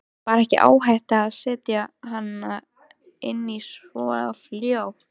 Var ekki áhætta að setja hana inn svo fljótt?